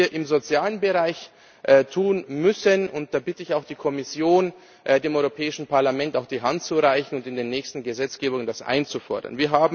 Was wir im sozialen Bereich tun müssen da bitte ich auch die Kommission, dem Europäischen Parlament die Hand zu reichen und in der nächsten Gesetzgebung das einzufordern.